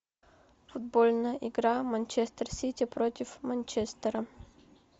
футбольная игра манчестер сити против манчестера